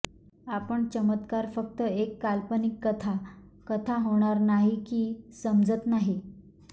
आपण चमत्कार फक्त एक काल्पनिक कथा कथा होणार नाही की समजत नाही